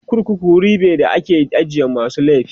korkuku wuri be da ake ajiye masu laifi